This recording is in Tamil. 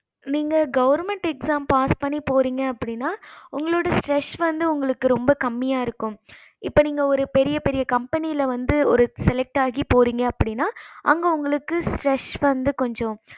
நீங்க government exam pass பண்ணி போறீங்க அப்படின்னா உங்களோட stress வந்து உங்களுக்கு ரொம்ப கம்மியா இருக்கும் இப்ப நீங்க பெரிய பெரிய கம்பனில வந்து select ஆகி போறீங்க அப்படின்னா அங்க உங்களுக்கு stress வந்து கொஞ்சம்